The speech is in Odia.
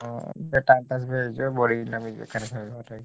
ହଁ time pass